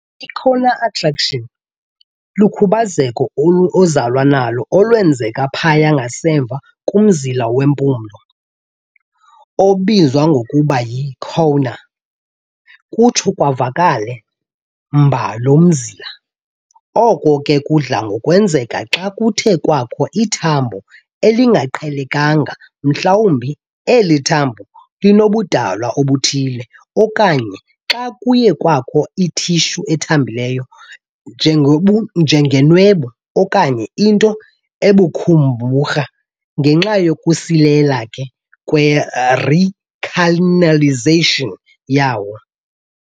I-Choanal atresia lukhubazeko ozalwa nalo olwenzeka phaya ngasemva komzila wempumlo, obizwa ngokuba yi-choana, kutsho kuvaleke mba lo mzila, oko ke kudla ngokwenzeka xa kuthe kwakho ithambo elingaqhelekanga mhlawubi eli thambo linobudalwa obuthile, okanye xa kuye kwakho i-tissue ethambileyo, njengobu enjengenwebu okanye into ebukhumbarha, ngenxa yokusilela kwe-recanalization yawo.